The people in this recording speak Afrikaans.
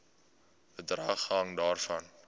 bedrag hang daarvan